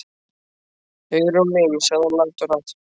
Hugrún mín sagði hann lágt og hratt.